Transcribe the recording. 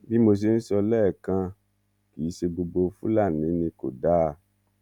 bí mo ṣe ń sọ lẹ́ẹ̀kan kì í ṣe gbogbo fúlàní ni kò dáa